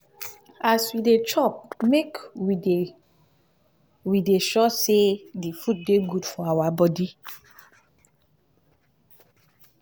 as we dey chop make we dey we dey sure sey di food dey good for our body